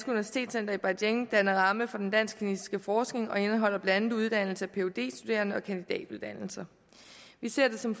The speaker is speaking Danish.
universitetscenter i beijing danner ramme for den dansk kinesiske forskning og indeholder blandt andet uddannelse af phd studerende og kandidatuddannelser vi ser det som